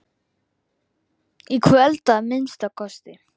Í kvöld, að minnsta kosti.